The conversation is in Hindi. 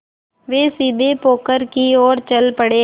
वे सीधे पोखर की ओर चल पड़े